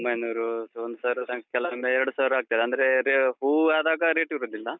ಒಂಬೈನೂರು ಒಂದ್ಸಾವಿರ ತನಕ ಕೆಲವೊಮ್ಮೆ ಎರಡು ಸಾವಿರ ಆಗ್ತದೆ. ಅಂದ್ರೇ ಹೂವ್ ಆದಾಗ ರೇಟು ಇರುದಿಲ್ಲ.